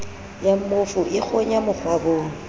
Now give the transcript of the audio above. ya mmofu e kgonya mokgwabong